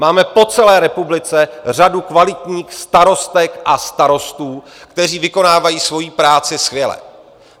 Máme po celé republice řadu kvalitních starostek a starostů, kteří vykonávají svoji práci skvěle.